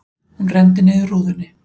Hún renndi niður rúðunni.